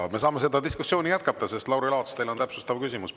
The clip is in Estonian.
Aga me saame seda diskussiooni jätkata, sest Lauri Laats, teil on täpsustav küsimus.